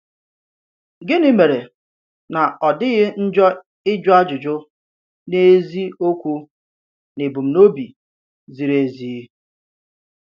Gịnì mère nà ọ̀ dịghị njọ ị̀jụ̀ àjụ̀jụ n’ezi òkwù n’èbùm̀nobi zìrì ezi?